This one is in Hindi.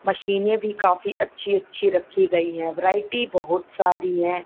मशीने भी काफी अच्छी अच्छी रखी गई है वेराइटी बहुत सारी है।